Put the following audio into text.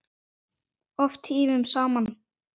Oft tímunum saman.